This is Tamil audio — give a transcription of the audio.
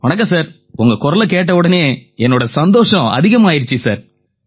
வணக்கம் சார் உங்க குரலைக் கேட்டவுடனேயே என்னோட சந்தோஷம் அதிகமாயிருச்சு சார்